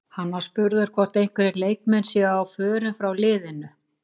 Hann var spurður hvort einhverjir leikmenn séu á förum frá leiðinu?